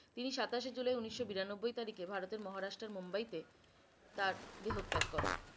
তিনি সাতাশে জুলাই উনিশশ বিরানব্বই তারিখে ভারতের মহারাষ্ট্রের মুম্বাইতে তার দেহত্যাগ করেন।